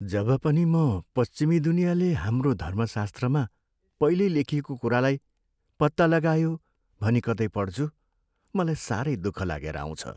जब पनि म पश्चिमी दुनियाँले हाम्रो धर्मशास्त्रमा पहिल्यै लेखिएको कुरालाई "पत्ता लगायो" भनी कतै पढ्छु, मलाई साह्रै दुःख लागेर आउँछ।